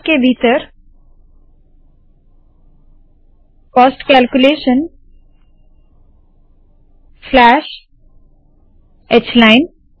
braces के भीतर cost calculation slash h line